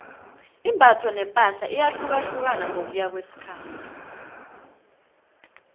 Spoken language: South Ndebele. imbatho nepahla iyahlukahlukana ngokuya ngokwesikhathi